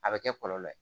A bɛ kɛ kɔlɔlɔ ye